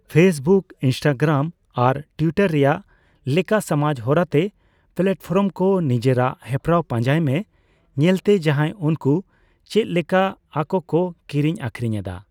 Facebook, Instagram ᱟᱨ Twitter ᱨᱮᱭᱟᱜ ᱞᱮᱠᱟ ᱥᱚᱢᱟᱡ ᱦᱚᱨᱟᱛᱮ ᱯᱮᱞᱟᱴᱯᱷᱚᱨᱚᱢ ᱠᱚ ᱱᱤᱡᱮᱨᱟᱜ ᱦᱮᱯᱨᱟᱣ ᱯᱟᱡᱟᱸᱭ ᱢᱮ, ᱧᱮᱞᱛᱮ ᱡᱟᱦᱟᱸᱭ ᱩᱱᱠᱩ ᱪᱮᱫᱞᱮᱠᱟ ᱟᱠᱚᱠᱚ ᱠᱤᱨᱤᱧᱼᱟᱠᱷᱨᱤᱧ ᱮᱫᱟ ᱾